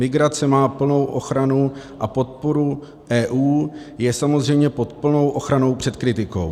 Migrace má plnou ochranu a podporu EU, je samozřejmě pod plnou ochranou před kritikou.